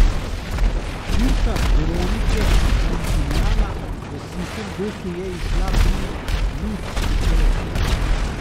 Zbirka Veronike Dintinjana V suhem doku je izšla pri Lud Literatura.